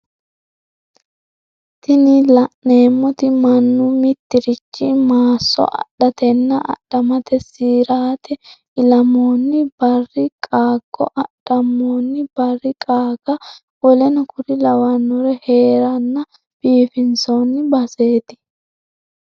Tini la'neemoti mannu mitirichi maasso, adhatenna adhammate siraati, ilammoonni barri qaaggo, adhammoonni barri qaage woleno kuri lawannori hereenna biifinsoonni baseeti.